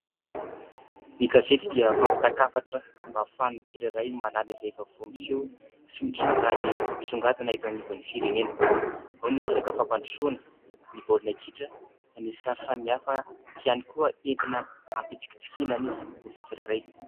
Ny gazety dia fampitan-kafatra mba ahafahan'ny tsirairay mahalala izay vaovao miseho sy mitranga ary misongadina eto anivon'ny firenena ; ao ny resaka fampandrosoana, ny baolina kitra, ny sary samihafa ihany koa entina hampitsikitsikiana ny olona tsirairay.